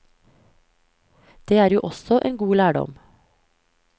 Det er jo også en god lærdom.